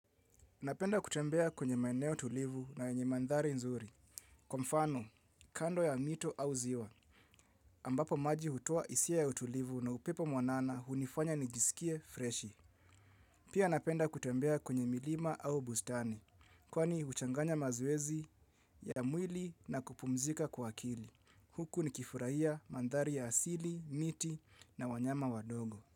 Napenda kutembea kwenye maeneo tulivu na yenye mandhari nzuri. Kwa mfano, kando ya mito au ziwa. Ambapo maji hutoa hisia ya utulivu na upepo mwanana hunifanya nijisikie freshi. Pia napenda kutembea kwenye milima au bustani. Kwani huchanganya mazoezi ya mwili na kupumzika kwa akili. Huku nikifurahia mandhari ya asili, miti na wanyama wadogo.